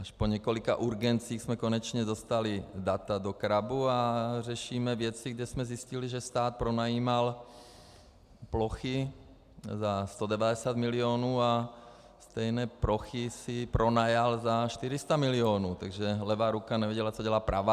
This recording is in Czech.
Až po několika urgencích jsme konečně dostali data do CRABu a řešíme věci, kde jsme zjistili, že stát pronajímal plochy za 190 milionů a stejné plochy si pronajal za 400 milionů, takže levá ruka nevěděla, co dělá pravá.